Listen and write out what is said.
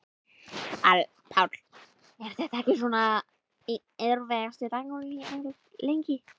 Páll: Er þetta ekki svona einn erfiðasti dagurinn hérna, lengi?